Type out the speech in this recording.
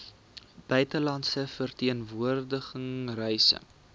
buitelandse verteenwoordiging reise